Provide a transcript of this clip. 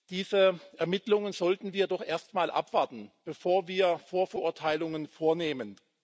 Diese Ermittlungen sollten wir doch erst einmal abwarten, bevor wir Vorverurteilungen vornehmen.